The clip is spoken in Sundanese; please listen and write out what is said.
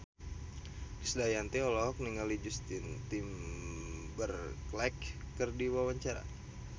Krisdayanti olohok ningali Justin Timberlake keur diwawancara